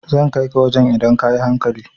Zan kai ka wajan idan ka yi hankali